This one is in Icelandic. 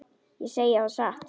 Ég segi það satt.